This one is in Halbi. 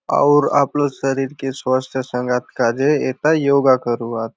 आउर आपलो शरीर के स्वस्थ सगातो काजे एथा योगा करूआत।